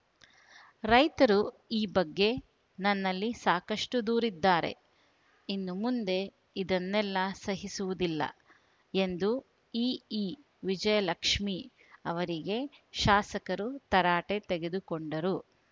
ರೈತರು ಈ ಬಗ್ಗೆ ನನ್ನಲ್ಲಿ ಸಾಕಷ್ಟುದೂರಿದ್ದಾರೆ ಇನ್ನು ಮುಂದೆ ಇದನ್ನೆಲ್ಲ ಸಹಿಸುವುದಿಲ್ಲ ಎಂದು ಇಇ ವಿಜಯಲಕ್ಷ್ಮೀ ಅವರಿಗೆ ಶಾಸಕರು ತರಾಟೆ ತೆಗೆದುಕೊಂಡರು